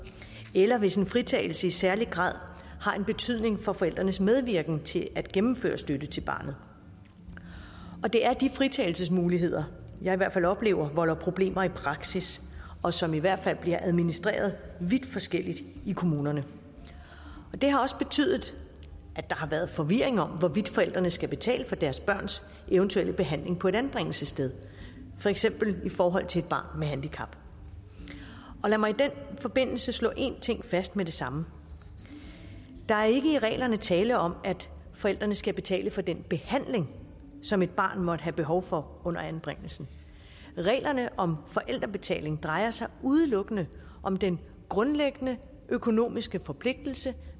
eller hvis en fritagelse i særlig grad har en betydning for forældrenes medvirken til at gennemføre støtte til barnet og det er de fritagelsesmuligheder jeg i hvert fald oplever volder problemer i praksis og som i hvert fald bliver administreret vidt forskelligt i kommunerne det har også betydet at der har været forvirring om hvorvidt forældrene skal betale for deres børns eventuelle behandling på et anbringelsessted for eksempel i forhold til et barn med handicap og lad mig i den forbindelse slå en ting fast med det samme der er ikke i reglerne tale om at forældrene skal betale for den behandling som et barn måtte have behov for under anbringelsen reglerne om forældrebetaling drejer sig udelukkende om den grundlæggende økonomiske forpligtelse